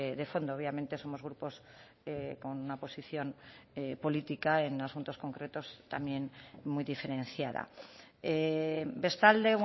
de fondo obviamente somos grupos con una posición política en asuntos concretos también muy diferenciada bestalde